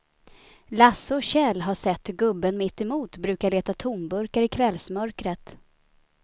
Lasse och Kjell har sett hur gubben mittemot brukar leta tomburkar i kvällsmörkret.